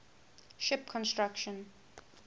ship construction